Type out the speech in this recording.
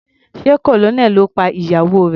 Sé Colonel ló pa ìyàwó rẹ̀.